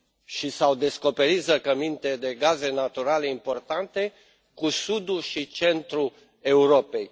și s au descoperit zăcăminte de gaze naturale importante în sudul și centrul Europei.